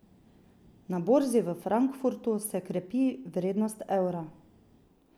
Na borzi v Frankfurtu se krepi vrednost evra.